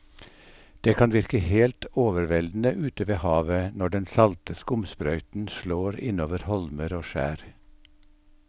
Det kan virke helt overveldende ute ved havet når den salte skumsprøyten slår innover holmer og skjær.